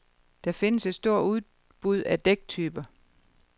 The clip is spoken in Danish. Der findes et stort udbud af dæktyper.